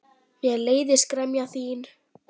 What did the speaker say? Mér leiðist gremja þín.